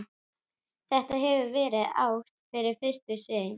Þetta hefur verið ást við fyrstu sýn.